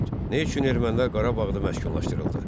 4. Nə üçün ermənilər Qarabağda məşğullaşdırıldı?